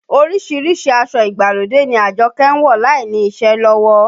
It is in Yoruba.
Orísìírísìí aṣọ ìgbàlódé ni Àjọkẹ́ ń wọ̀ láìní iṣẹ́ lọ́wọ́